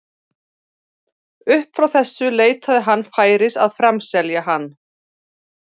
Upp frá þessu leitaði hann færis að framselja hann.